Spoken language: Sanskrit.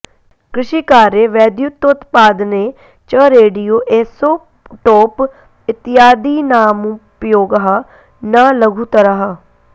कृषिकार्ये वैद्युतोत्पादने च रेडियो ऎसोट्टोप् इत्यादीनामुपयोगः न लघुतरः